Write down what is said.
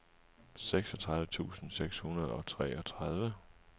seksogtredive tusind seks hundrede og treogtredive